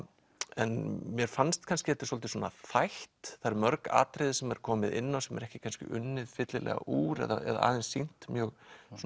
en mér fannst kannski þetta er svolítið þætt það eru mörg atriði sem er komið inn á sem er ekki kannski unnið fyllilega úr eða aðeins sýnt mjög